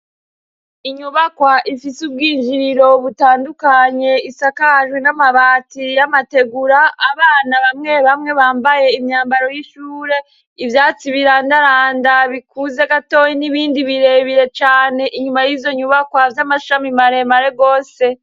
Inyubakwa ifise ubwinjiriro butandukanye isakajwe n'amabati y'amategura abana bamwe bamwe bambaye imyambaro y'ishure, ivyatsi birandaranda bikuze gatoyi n'ibindi birebire cane inyuma y'izonyubakwa z'amashami maremare gose.